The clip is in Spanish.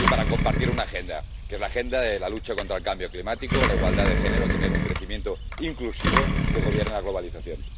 y para compartir una agenda, que es la agenda de la lucha contra el cambio climático, la igualdad de género o tener un crecimiento inclusivo que gobierne la globalización.